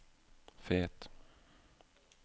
Fet